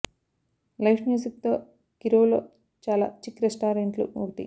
live music తో Kirov లో చాలా చిక్ రెస్టారెంట్లు ఒకటి